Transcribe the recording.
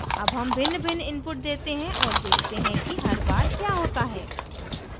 अब हम भिन्नभिन्न inputs देते हैं और देखते हैं कि हर बार क्या होता है